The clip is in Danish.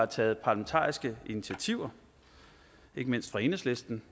taget parlamentariske initiativer ikke mindst af enhedslisten